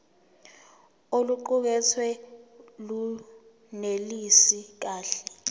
oluqukethwe lunelisi kahle